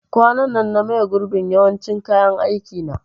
Kwanan nan na maye gurbin yawancin kayan aikin na